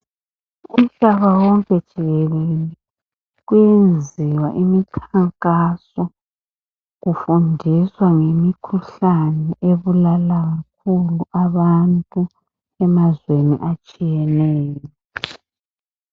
Umhlaba wonke jikelele kuyenziwa imkhankaso, kufundiswa ngemikhuhlane ubulalayo abantu emazweni atshiyeneyo.